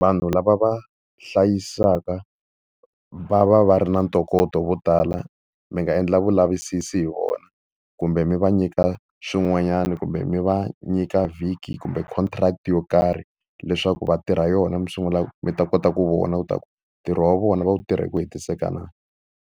Vanhu lava va hlayisaka va va va ri na ntokoto vo tala. Mi nga endla vulavisisi hi vona, kumbe mi va nyika swin'wanyani kumbe mi va nyika vhiki kumbe contract yo karhi. Leswaku va tirha yona mi sungula mi ta kota ku vona leswaku ntirho wa vona va wu tirha hi ku hetiseka na.